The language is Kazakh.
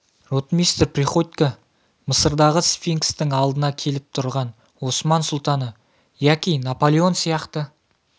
ротмистр приходько мысырдағы сфинкстің алдына келіп тұрған осман сұлтаны яки наполеон сияқты